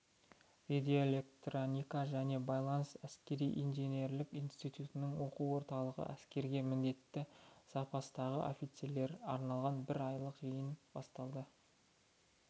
радиоэлектроника және байланыс әскери-инженерлік институтының оқу орталығында әскерге міндетті запастағы офицерлерге арналған бір айлық жиын басталды